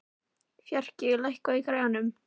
Fjarki, lækkaðu í græjunum.